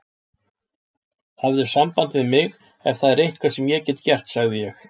Hafðu samband við mig, ef það er eitthvað sem ég get gert sagði ég.